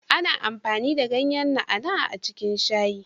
Ana amfani da ganyan na'a na'a a cikin shayi